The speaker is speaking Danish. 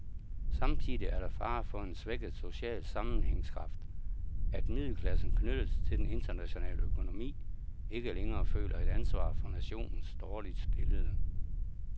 Samtidig er der fare for en svækket social sammenhængskraft, at middelklassen, knyttet til den internationale økonomi, ikke længere føler et ansvar for nationens dårligt stillede.